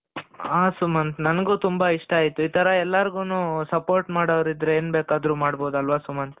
ಹ ಸುಮಂತ್ ನಂಗೂ ತುಂಬಾ ಇಷ್ಟ ಆಯ್ತು ಇತರ ಎಲ್ಲಾರ್ಗೂನು support ಮಾಡೋರಿದ್ರೆ ಏನ್ ಬೇಕಾದ್ರೂ ಮಾಡಬಹುದಲ್ವಾ ಸುಮಂತ್